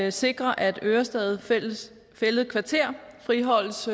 at sikre at ørestad fælled fælled kvarter friholdes